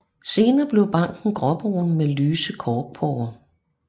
Senere bliver barken gråbrun med lyse korkporer